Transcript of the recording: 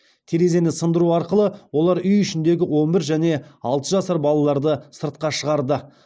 терезені сындыру арқылы олар үй ішіндегі он бір және алты жасар балаларды сыртқа шығарды